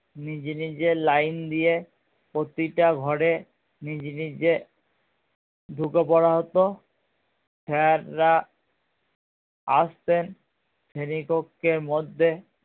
নিজে নিজে line দিয়ে প্রতিটা ঘরে নিজে নিজে ঢুকে পড়া হতো sir রা আসতেন শ্রেণী কক্ষের মধ্যে